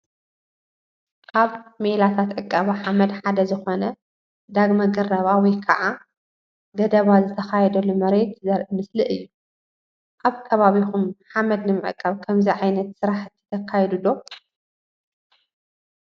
ካብ ሜላታት ዕቀባ ሓመድ ሓደ ዝኾነ ዳግመ ግረባ ወይከዓ ገደባ ዝተኻየደሉ መሬት ዘርኢ ምስሊ እዩ፡፡ ኣብከባቢኹም ሓመድ ንምዕቃብ ከምዚ ዓይነት ስራሕቲ ተካይዱ ዶ?